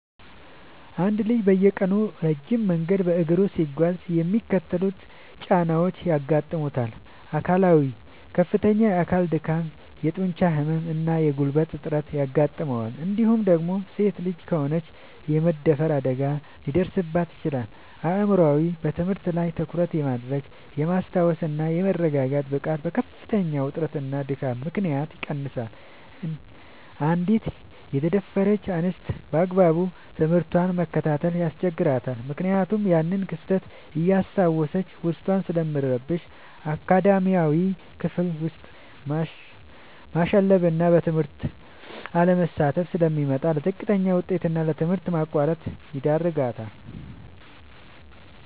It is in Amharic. አንድ ልጅ በየቀኑ ረጅም መንገድ በእግሩ ሲጓዝ የሚከተሉት ጫናዎች ያጋጥሙታል፦ አካላዊ፦ ከፍተኛ የአካል ድካም፣ የጡንቻ ህመም እና የጉልበት እጥረት ያጋጥመዋል እንዲሁም ደግሞ ሴት ልጅ ከሆነች የመደፈር አደጋ ሊደርስባት ይችላል። አእምሯዊ፦ በትምህርት ላይ ትኩረት የማድረግ፣ የማስታወስ እና የመረጋጋት ብቃቱ በከፍተኛ ውጥረትና ድካም ምክንያት ይቀንሳል: አንዲት የተደፈረች እንስት ባግባቡ ትምህርቷን መከታተል ያስቸግራታል ምክንያቱም ያንን ክስተት እያስታወሰች ዉስጧ ስለሚረበሽ። አካዳሚያዊ፦ ክፍል ውስጥ ማሸለብና በትምህርቱ አለመሳተፍ ስለሚመጣ: ለዝቅተኛ ውጤት እና ለትምህርት ማቋረጥ ይዳረጋል።